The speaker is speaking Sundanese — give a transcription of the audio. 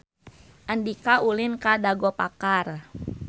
Andika ulin ka Dago Pakar